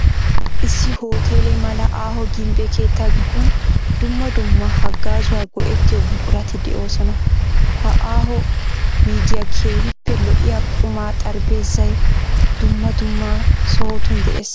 Issi hoteele mala aaho gimbbe keettaa gidon dumma dumma hagaazawu go'ettiyo buqurati de'oosona. Ha aaho wuygiyan keehiippe lo'iya qumaa xaraphpheezzay dumma dumma sohotun de'ees.